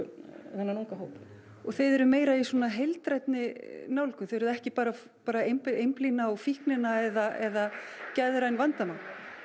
þennan unga hóp og þið eruð meira í svona heildrænni nálgun þið eruð ekki bara bara að einblína á fíknina eða geðræn vandamál